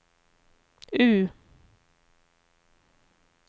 U